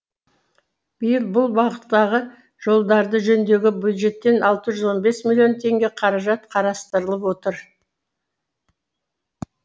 биыл бұл бағыттағы жолдарды жөндеуге бюджеттен алты жүз он бес миллион теңге қаражат қарастырылып отыр